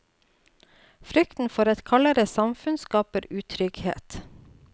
Frykten for et kaldere samfunn skaper utrygghet.